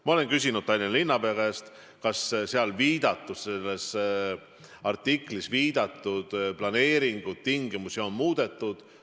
Ma olen küsinud Tallinna linnapea käest, kas selles artiklis viidatud planeeringu tingimusi on muudetud.